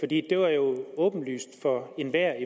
det jo var åbenlyst for enhver i